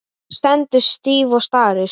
Hún stendur stíf og starir.